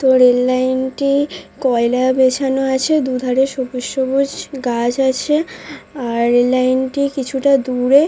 তো rail line টি কয়লা বেছানো আছে দু ধারে সবুজ সবুজ গাছ আছে আর টি কিছুটা দূরে --